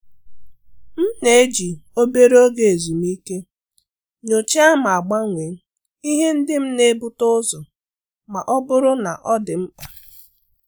M na-eji obere oge ezumike nyochaa ma gbanwee ihe ndị m na-ebute ụzọ ma ọ bụrụ na ọ dị mkpa.